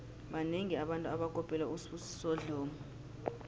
banengi abantu abakopela usibusiso dlomo